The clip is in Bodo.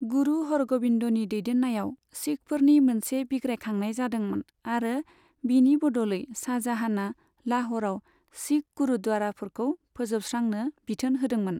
गुरु हरग'बिन्दनि दैदेन्नायाव सिखफोरनि मोनसे बिग्रायखांनाय जादोंमोन आरो बिनि बदलै शाहजाहाना लाह'रआव सिख गुरुद्वाराफोरखौ फोजोबस्रांनो बिथोन होदोंमोन।